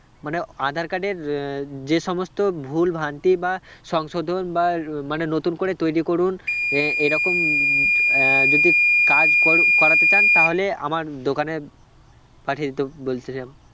মানে আঁধার card এর আহ যে সমস্ত ভুলভ্রান্তি বা সংশোধন বা আর মানে নতুন করে তৈরী করুন আহ এরকম উম আহ যদি কাজ কর~ করাতে চান তাহলে আমার দোকানে পাঠিয়ে দিতে বলছিলাম